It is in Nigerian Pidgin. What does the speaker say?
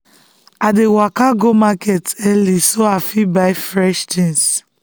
i dey waka go market early so i fit buy fresh things.